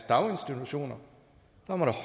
daginstitutioner